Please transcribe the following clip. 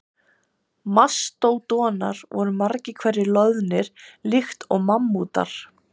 Mastódonar voru margir hverjir loðnir líkt og mammútar.